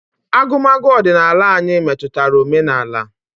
Agụmagụ ọdịnala anyi metụtara omenala.